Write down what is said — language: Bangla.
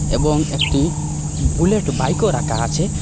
এবং একটি বুলেট বাইকও রাখা আছে।